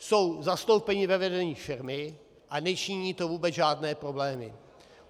Jsou zastoupené ve vedení firmy a nečiní to vůbec žádné problémy.